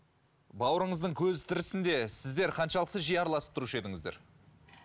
бауырыңыздың көзі тірісінде сіздер қаншалықты жиі араласып тұрушы едіңіздер